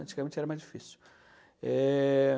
Antigamente era mais difícil. Eh...